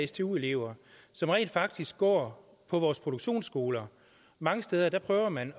stu elever som rent faktisk går på vores produktionsskoler og mange steder prøver man